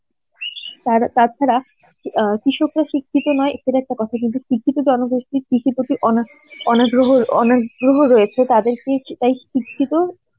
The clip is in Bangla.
তার~ তাছাড়া অ্যাঁ কৃষকরা শিক্ষিত নয় এটা একটা কথা কিন্তু শিক্ষিত জনগোষ্ঠী অনাগ্রহ অনাগ্রহ রয়েছে তাদেরকে সেটাই শিক্ষিত